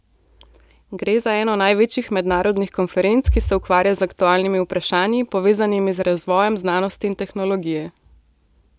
Gre za eno največjih mednarodnih konferenc, ki se ukvarja z aktualnimi vprašanji, povezanimi z razvojem znanosti in tehnologije.